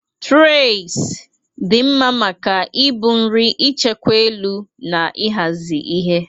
Traịs dị mma maka ibu nri, ichekwa elu, na ịhazi ihe.